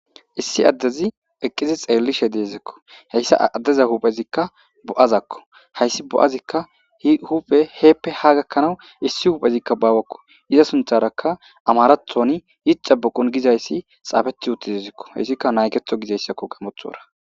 Issi adez eqid xelishe deziko , haysa adeza huphezika bo'azako, hays bo'azika heppe ha gakanaw issi huphezika bawako. Iza sintharaka amarathoni yixebikun gizays xafeti utidesko. Haysika nageto gizaysko gaamothora.